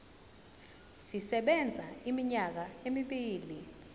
sisebenza iminyaka emibili